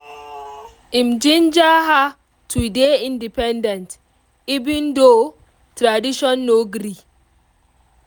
im ginger her to dey independent even though tradition no gree